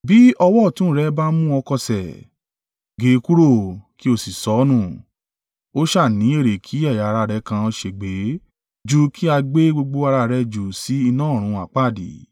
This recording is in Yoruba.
Bí ọwọ́ ọ̀tún rẹ bá mú ọ kọsẹ̀, gé e kúrò, kí ó sì sọ ọ́ nù. Ó sá à ní èrè kí ẹ̀yà ara rẹ kan ṣègbé ju kí a gbé gbogbo ara rẹ jù sí iná ọ̀run àpáàdì.